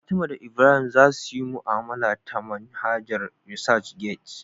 Fatima da Ibrahim za su yi mu'amala ta manhajar ResearchGate